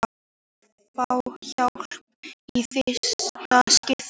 Margir fá hjálp í fyrsta skipti